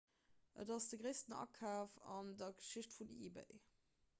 et ass de gréissten akaf an der geschicht vun ebay